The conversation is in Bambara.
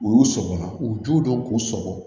U y'u sɔgɔ u ju dɔ k'u sɔgɔ